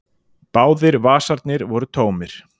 Báðir vasarnir voru tómir.